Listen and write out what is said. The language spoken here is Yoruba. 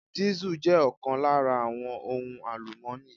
Diesel jẹ́ ọ̀kan lára àwọn ohun àlùmọ́ni.